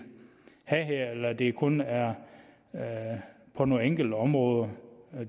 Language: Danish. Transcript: have her eller om det kun er på nogle enkelte områder